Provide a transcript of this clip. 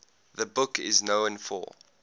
the book is known for